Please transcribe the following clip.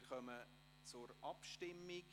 Wir kommen zur Abstimmung.